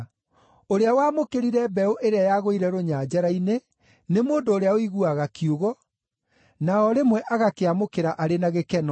Ũrĩa wamũkĩrire mbeũ ĩrĩa yagũire rũnyanjara-inĩ nĩ mũndũ ũrĩa ũiguaga kiugo, na o rĩmwe agakĩamũkĩra arĩ na gĩkeno.